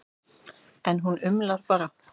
En hún umlar bara.